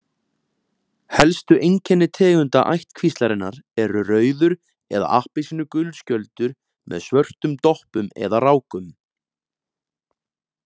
Helstu einkenni tegunda ættkvíslarinnar eru rauður eða appelsínugulur skjöldur með svörtum doppum eða rákum.